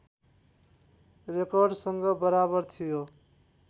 रेकर्डसँग बराबर थियो